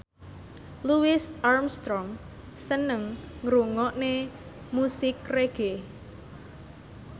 Louis Armstrong seneng ngrungokne musik reggae